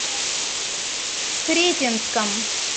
сретенском